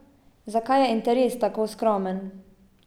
Zakaj je interes tako skromen?